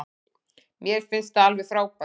Mér finnst það alveg frábært.